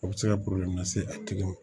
O bɛ se ka lase a tigi ma